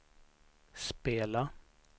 spela